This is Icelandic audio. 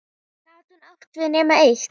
Gat hún átt við nema eitt?